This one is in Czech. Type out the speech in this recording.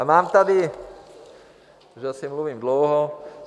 A mám tady... už asi mluvím dlouho.